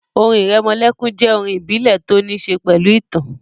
Orin ìrẹmọlẹ́kún jẹ́ àwọn orin ìbílẹ̀ tó ní ṣe pẹ̀lú ìtàn